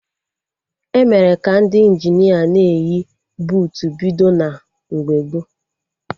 Emere ka Ndị Injinia na-eyi buutu bido na mgbe gboo